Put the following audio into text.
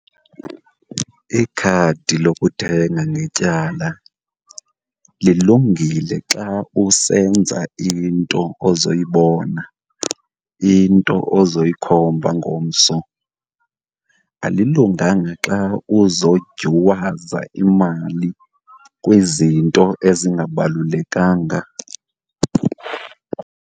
Ikhadi lokuthenga ngetyala lilungile xa usenza into ozoyibona, into ozoyikhomba ngomso. Alilunganga xa uzodyuwaza imali kwizinto ezingabalulekanga.